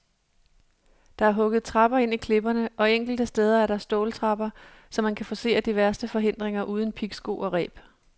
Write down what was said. Der er hugget trapper ind i klipperne, og enkelte steder er der ståltrapper, så man kan forcere de værste forhindringer uden pigsko og reb.